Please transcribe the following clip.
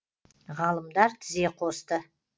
ғалымдар тізе қосты